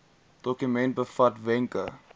dokument bevat wenke